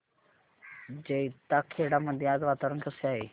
जैताखेडा मध्ये आज वातावरण कसे आहे